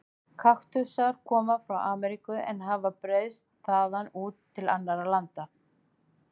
Kaktusar koma frá Ameríku en hafa breiðst þaðan út til annarra landa.